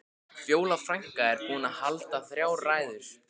Fjóla frænka er búin að halda þrjár ræður.